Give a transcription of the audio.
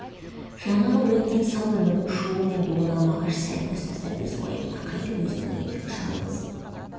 жаңағы бір өткен сау өмірдің шуы мен дуына мағаш сәл көз тастап өз уайымына қайтып өзінің ендігі жалғыз